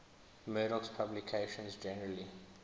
murdoch's publications generally